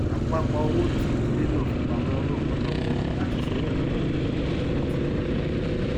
àpapọ owó tí idílé náà fipamọ ràn wọn lọwọ láti san owó ẹkọ ọmọ wọn pẹlú ìtùnú